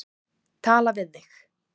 Tala við þig.